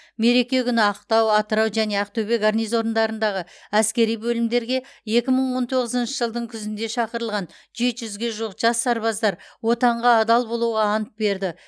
мереке күні ақтау атырау және ақтөбе гарнизондарындағы әскери бөлімдерге екі мың он тоғызыншы жылдың күзінде шақырылған жеті жүзге жуық жас сарбаздар отанға адал болуға ант берді